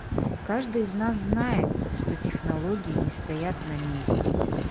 каждый из нас знает что технологии не стоят на месте